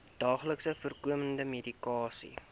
daagliks voorkomende medikasie